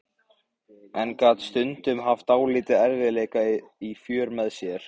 En gat stundum haft dálitla erfiðleika í för með sér.